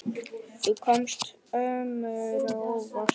Þú komst öllum á óvart.